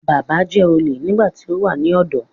Bàbá jẹ́ olè nígbà tí ó wà ní ọ̀dọ́